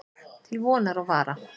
Til vonar og vara.